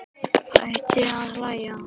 Hætti að hlæja.